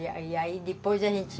E aí aí depois a gente...